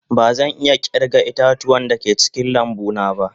Bazan iya kirga ita-tuwa da ke cikin lambu na ba.